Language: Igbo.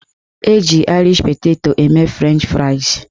Eji aịrish peteto eme frenchị fraịs